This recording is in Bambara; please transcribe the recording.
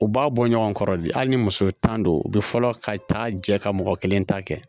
U b'a bɔ ɲɔgɔn kɔrɔ de hali ni muso tan don u bɛ fɔlɔ ka taa jɛ ka mɔgɔ kelen ta kɛ